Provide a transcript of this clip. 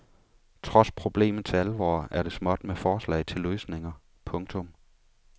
Trods problemets alvor er det småt med forslag til løsninger. punktum